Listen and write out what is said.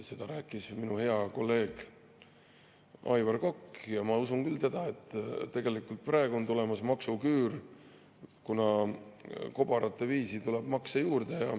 Seda rääkis minu hea kolleeg Aivar Kokk ja ma usun küll teda, et tegelikult praegu on tulemas maksuküür, kuna kobarate viisi tuleb makse juurde.